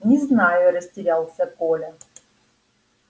не знаю растерялся коля